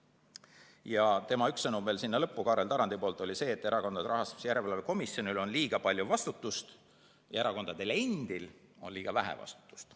Kaarel Tarandi sõnum sinna lõppu oli see, et Erakondade Rahastamise Järelevalve Komisjonil on liiga palju vastutust ja erakondadel endil on liiga vähe vastutust.